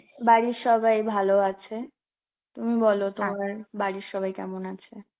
বাড়ির সবাই ভালো আছে, তুমি বলো তোমার বাড়ির সবাই কেমন আছে?